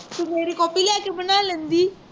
ਤੂੰ ਮੇਰੀ copy ਲੈ ਕੇ ਬਣਾ ਲੈਂਦੀ